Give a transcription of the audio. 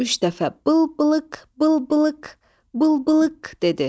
Üç dəfə bıl-bılıq, bıl-bılıq, bıl-bılıq dedi.